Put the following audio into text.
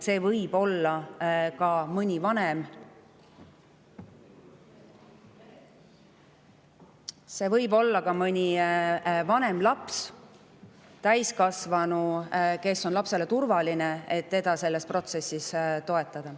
See võib olla ka mõni vanem laps või täiskasvanu, kes on lapsele turvaline ja saab teda selles protsessis toetada.